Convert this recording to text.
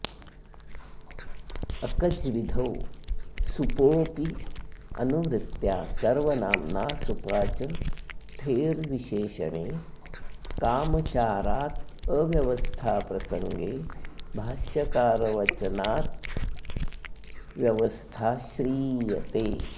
अकज्विधौ सुपोऽप्यनुवृत्त्या सर्वनाम्ना सुपा च ठेर्विशेषणे कामचारादव्यवस्थाप्रसङ्गे भाष्यकारवचनाव्द्यवस्था श्रीयते